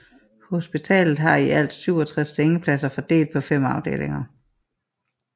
Hospitalet har i alt 67 sengepladser fordelt på 5 afdelinger